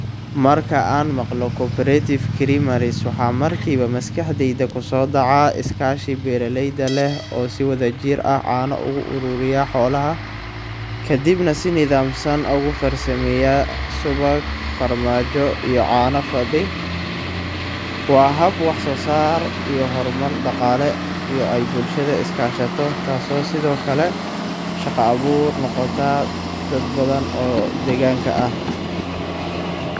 Marka aan maqlo cooperative creameries, waxa markiiba maskaxdayda ku soo dhaca iskaashi beeraleyda leh oo si wadajir ah caano uga ururiya xoolaha, kadibna si nidaamsan ogu farsameeya subag, farmaajo, iyo caano fadhi. Waa hab wax soo saar iyo horumar dhaqaale oo ay bulshada iska kaashato, taasoo sidoo kale shaqo abuur noqota dad badan oo deegaanka ah.